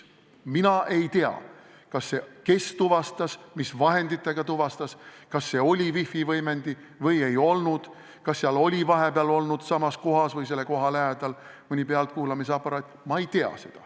Mina ei tea, kes tuvastas, mis vahenditega tuvastas, kas see oli wifi võimendi või ei olnud, kas seal oli vahepeal olnud mõni pealtkuulamisaparaat.